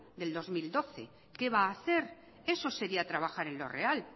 del dos mil doce qué va a hacer eso sería trabajar en lo real